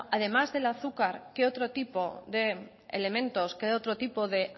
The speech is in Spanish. además del azúcar qué otro tipo de elementos qué otro tipo de